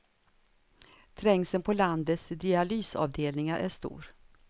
Trängseln på landets dialysavdelningar är stor.